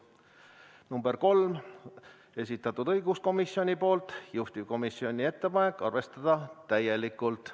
Ettepanek nr 3, esitanud õiguskomisjon, juhtivkomisjoni ettepanek: arvestada täielikult.